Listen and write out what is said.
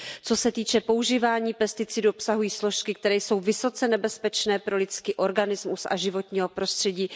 Co se týče používání, pesticidy obsahují složky, které jsou vysoce nebezpečné pro lidský organismus a životní prostředí.